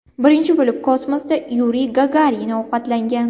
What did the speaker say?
Birinchi bo‘lib kosmosda Yuriy Gagarin ovqatlangan.